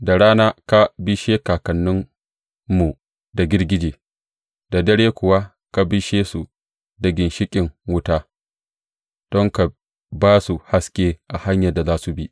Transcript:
Da rana ka bishe kakanninmu da girgije, da dare kuwa ka bishe su da ginshiƙin wuta don ka ba su haske a hanyar da za su bi.